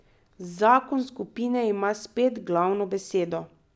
Zakon skupine ima spet glavno besedo.